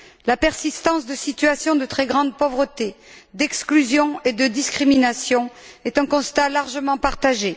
La persistance de situations de très grande pauvreté, d'exclusion et de discrimination est un constat largement partagé.